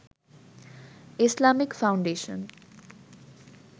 Islamic foundation